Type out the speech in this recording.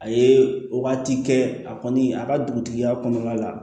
A ye wagati kɛ a kɔni a ka dugutigiya kɔnɔna la